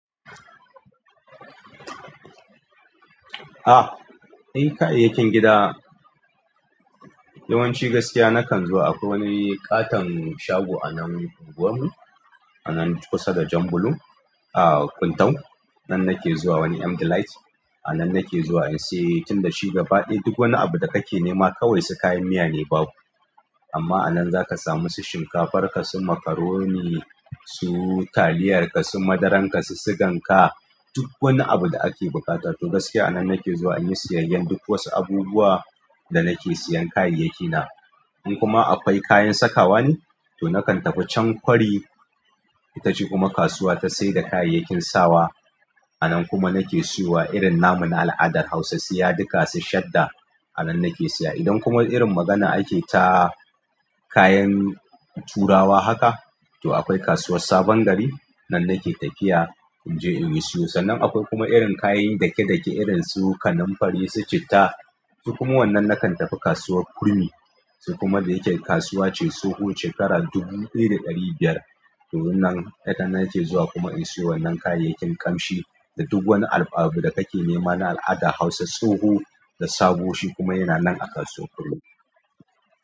Ah, eh kayayyakin gida yawanci gaskiya nakan zuwa akwai wani ƙaton shago a nan unguwarmu anan kusa da jan bulo a antau nan nake zuwa wani M Delight. Anan nake zuwa in se tunda shi gaba ɗaya duk wani abu da kake nema kawai su kayan miya ne babu amma a nan zaka samu su shinkafar ka, su macaroni su taliyar ka, su madaran ka, su sigan ka duk wani abu da ake buƙatar to gaskiya a nan nake zuwa in yi siyayyen duk wasu abubuwa da nake siyan kayayyakina. In kuma akwai kayan sakawa ne to nakan tafi chan kwari itace kasuwa na se da kayayyakin sawa a nan kuma nake siyo wa irin namu na al'adar Hausa, siyaduka, su, shadda a nan nake siya. Idan kuma irin magana ake ta kayan turawa haka to akwai kasuwar Sabon Gari nan nake tafiya in je in yi siyo. Sannan akwai kuma irin kayan dake-dake irin su kanunfari, su citta su kuma wannan nakan tafi kasuwar Kurmi su kuma da yake kasuwa ce tsoho shekara dubu ɗaya da ɗari biyar to wannan nakan nake zuwa kuma in siyo wannan kayayyakin ƙamshi da duk wani abu da kake nema na al'adar Hausa tsoho da sabo shi kuma yana nan a kasuwar Kurmi.